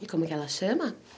E como é que ela chama?